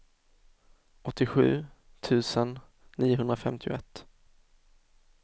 åttiosju tusen niohundrafemtioett